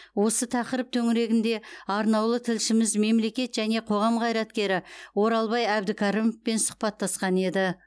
осы тақырып төңірегінде арнаулы тілшіміз мемлекет және қоғам қайраткері оралбай әбдікәрімовпен сұхбаттасқан еді